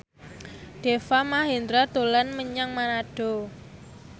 Deva Mahendra dolan menyang Manado